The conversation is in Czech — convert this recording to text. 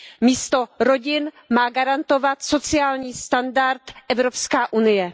Místo rodin má garantovat sociální standard Evropská unie.